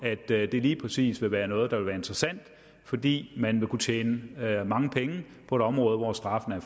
at det lige præcis vil være noget der vil være interessant fordi man vil kunne tjene mange penge på det område hvor straffene